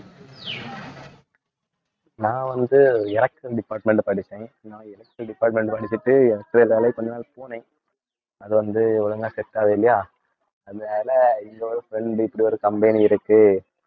நான் வந்து electrical department படிச்சேன். நான் electrical department படிச்சுட்டு வேலைக்கு கொஞ்ச நாள் போனேன் அது வந்து ஒழுங்கா set ஆவே இல்லையா. அந்த வேலை இன்னொரு friend இப்படி ஒரு company இருக்கு